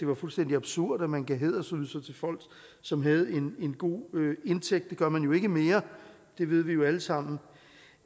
var fuldstændig absurd at man gav hædersydelser til folk som havde en god indtægt det gør man jo ikke mere det ved vi vi alle sammen